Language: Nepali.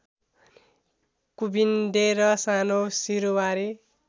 कुभिन्डे र सानो सिरुवारी